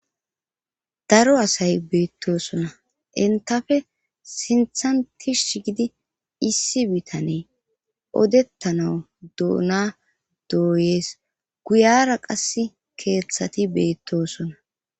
Daro asay beettosona entafe sinthantis sh gidi issi bitane o.dettana douna dooyees guyara qas keeththati beettosona.